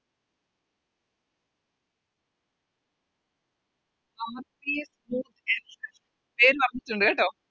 പേര് പറഞ്ഞിട്ടുണ്ട് കേട്ടോ